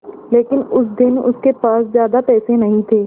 लेकिन उस दिन उसके पास ज्यादा पैसे नहीं थे